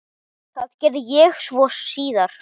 Það gerði ég svo síðar.